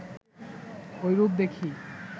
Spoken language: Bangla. ঐরূপ দেখি